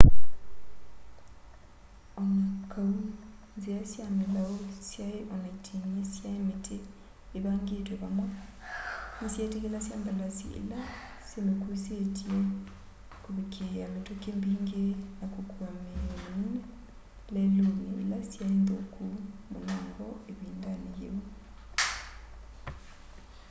o na kau nzia sya milau syai o na iting'i sya miti ivangitwe vamwe nisyetikilasya mbalasi ila simikuusitye kuvikiia mituki mbingi na kukua miio minene leluni ila syai nthuku munango ivindani yiu